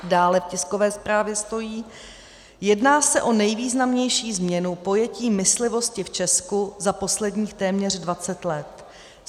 Dále v tiskové zprávě stojí: "Jedná se o nejvýznamnější změnu pojetí myslivosti v Česku za posledních téměř 20 let.